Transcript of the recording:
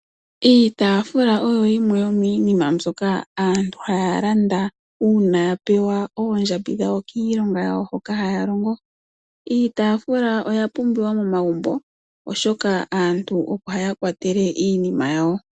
Iitaafula oyo yimwe yo miinima mbyoka aantu haya landa uuna yapewa oondjambi dhawo kiilonga hoka haya longo. iitaafuka oya pumbiwa momagumbo oshoka aantu opo haya kwatele iinima yawo.